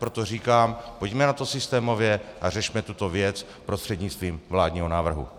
Proto říkám, pojďme na to systémově a řešme tuto věc prostřednictvím vládního návrhu.